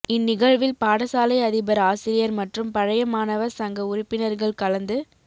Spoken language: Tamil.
இந்நிகழ்வில் பாடசாலை அதிபர் ஆசிரியர் மற்றும் பழைய மாணவ சங்க உறுப்பினர்கள் கலந்து